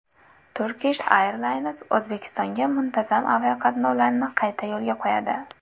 Turkish Airlines O‘zbekistonga muntazam aviaqatnovlarni qayta yo‘lga qo‘yadi.